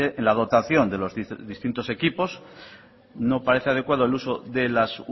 en la dotación de los distintos equipos no parece adecuado el uso de las